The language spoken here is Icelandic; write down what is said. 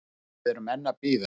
Og við erum enn að bíða